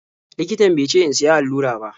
Likitan be ce in siya allura ba.